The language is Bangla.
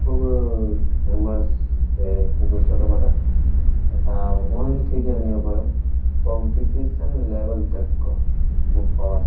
খুবই-ই ফেমাস ইয়ে বুক স্টোর টা বটে। ইটা ওয়ান থেকে নিয়ে পরে কম্পেটেশন লেভেল তাক ক বুক পাওয়া যা--